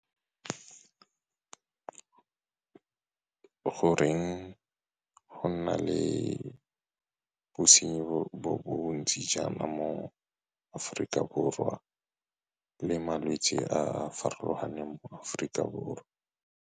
Goreng go na le bosenyi bo bontsi jaana mo Afrika Borwa le malwetse a a farologaneng mo Afrika Borwa?